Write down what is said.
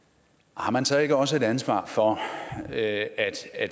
har man så ikke også et ansvar for at